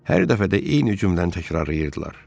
Hər dəfə də eyni cümləni təkrarlayırdılar.